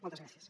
moltes gràcies